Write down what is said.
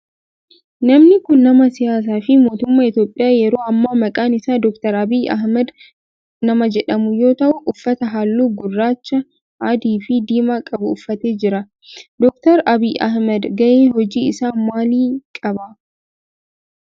Namni kun nama siyaasaa fi mootummaa Itiyoophiyaa yeroo ammaa maqaan isaa Dr. Abiyi Ahimeed nama jedhamu yoo ta'u uffata halluu gurraacha, adii fi diimaa qabu uffatee jira. Dr. Abiyi Ahimeed gahee hoji isaa maalii qaba?